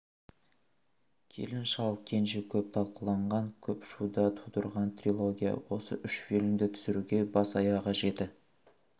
келін шал кенже көп талқыланған көп шу да тудырған трилогия осы үш фильмді түсіруге бас-аяғы жеті